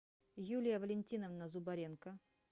юлия валентиновна зубаренко